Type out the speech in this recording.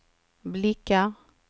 blickar